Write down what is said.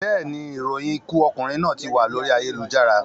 Bẹ́ẹ̀ni, ìròyìn ikú okùnrin náà tí wà lórí ayélujára